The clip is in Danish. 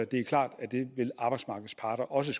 det er klart at arbejdsmarkedets parter også